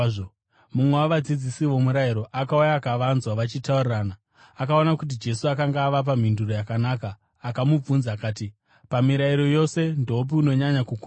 Mumwe wavadzidzisi vomurayiro akauya akavanzwa vachitaurirana. Akaona kuti Jesu akanga avapa mhinduro yakanaka, akamubvunza akati, “Pamirayiro yose, ndoupiko unonyanya kukosha?”